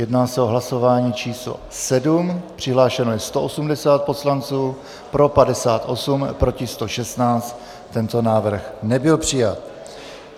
Jedná se o hlasování číslo 7, přihlášeno je 180 poslanců, pro 58, proti 116, tento návrh nebyl přijat.